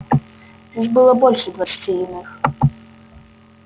здесь было больше двадцати иных